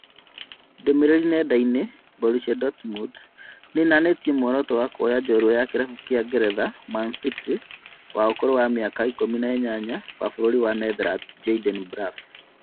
Ndũmĩrĩri nenda-inĩ ( Borrusia Dortmund)nĩnanĩtie mũoroto wa kũoya njorua ya kĩrabu kĩa ngeretha Manchester City wa ũkũrũ wa mĩaka ikũmi na inyanya, wa bũrũri wa Netherlands Jayden Braaf